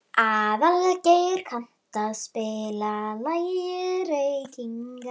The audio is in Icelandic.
Aðalgeir, kanntu að spila lagið „Reykingar“?